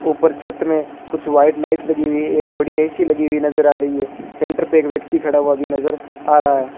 ऊपर छत मे कुछ व्हाइट लाइट लगी हुई है एक बड़ी ए_सी लगी हुई नज़र आ रही है सेंटर पे एक व्यक्ति खड़ा हुआ भी नज़र आ रहा है।